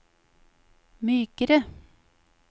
mykere